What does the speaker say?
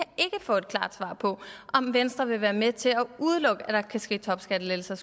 få et klart svar på om venstre vil være med til at udelukke at der kan ske topskattelettelser